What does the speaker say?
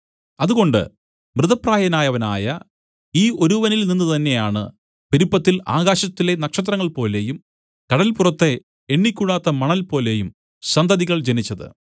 അതുകൊണ്ട് മൃതപ്രായനായവനായ ഈ ഒരുവനിൽനിന്ന് തന്നെയാണ് പെരുപ്പത്തിൽ ആകാശത്തിലെ നക്ഷത്രങ്ങൾപോലെയും കടല്പുറത്തെ എണ്ണിക്കൂടാത്ത മണൽപോലെയും സന്തതികൾ ജനിച്ചത്